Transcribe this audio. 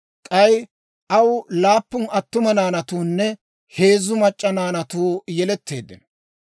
K'ay aw laappun attuma naanatuunne heezzu mac'c'a naanatuu yeletteeddino.